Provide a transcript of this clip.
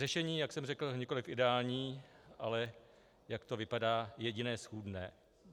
Řešení, jak jsem řekl, nikoli ideální, ale jak to vypadá, jediné schůdné.